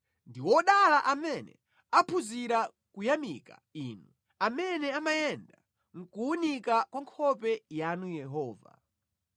Ndi odala amene aphunzira kuyamika Inu, amene amayenda mʼkuwunika kwa nkhope yanu Yehova.